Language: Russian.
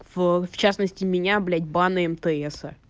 в частности меня блядь банное мтс